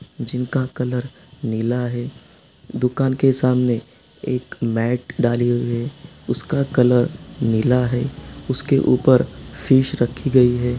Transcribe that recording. जिनका कलर नीला है दुकान के सामने एक मेट डाली हुई है उसका कलर नीला है| उसके ऊपर फिश रखी गयी है।